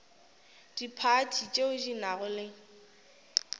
diphathi tšeo di nago le